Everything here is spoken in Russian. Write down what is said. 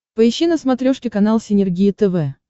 поищи на смотрешке канал синергия тв